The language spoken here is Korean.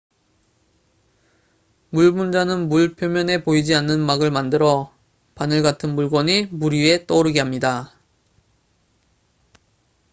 물 분자는 물 표면에 보이지 않는 막을 만들어 바늘 같은 물건이 물 위에 떠오르게 합니다